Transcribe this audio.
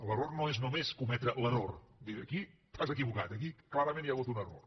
l’error no és només cometre l’error dir aquí t’has equivocat aquí clarament hi ha hagut un error